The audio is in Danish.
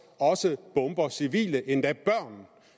også bomber civile endda børn